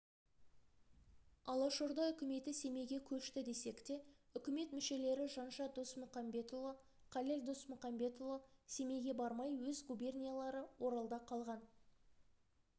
алашорда үкіметі семейге көшті десек те үкімет мүшелері жанша досмұқамбетұлы қалел досмұқамбетұлы семейге бармай өз губерниялары оралда қалған